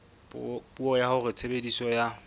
puo ya hore tshebediso ya